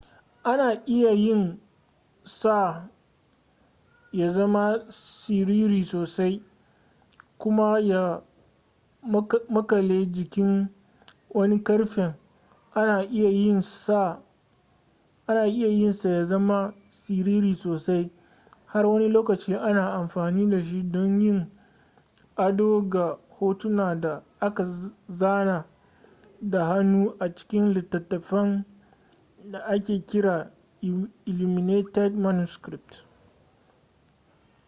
ana iya yin sa ya zama siriri sosai kuma ya makale jikin wani ƙarfen ana iya yin sa ya zama siriri sosai har wani lokacin ana amfani dashi don yin ado ga hotuna da aka zana da hannu a cikin littattafan da ake kira illuminated manuscripts